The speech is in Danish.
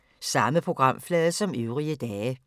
Samme programflade som øvrige dage